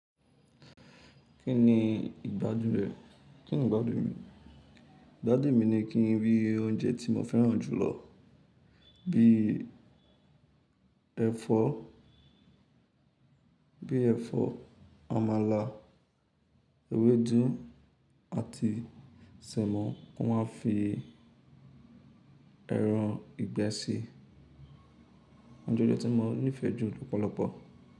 Kí ni ìgbàdun rẹ? Ki ni ìgbàdun mi? Ìgbàdun mi ni kí n rí oúnjẹ tí mo fẹ́ràn jùlọ bí ẹ̀fọ́, bí ẹ̀fọ́, àmàlà, ewédú àti sẹ̀mo, wọn a fi ẹran ìgbẹ́ sí i. Oúnjẹ eleyii tí mo nífẹ̀ẹ́ jù lọ́pọ̀lọpọ̀.